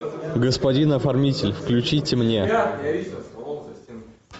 господин оформитель включите мне